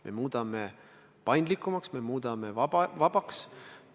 Me muudame paindlikumaks, me muudame vabaks.